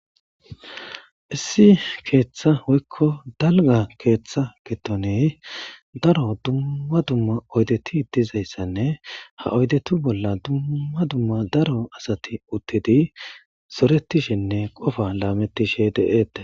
issi keeththa woyikko dalga keeththa gidoni daro dumma dumma oydeti dizayssanne ha oydetu bolla dumma dumma daro asati uttidi zoretishinne qofa laamettishe deetes